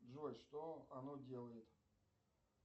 джой что оно делает